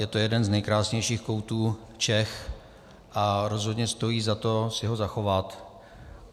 Je to jeden z nejkrásnějších koutů Čech a rozhodně stojí za to si ho zachovat.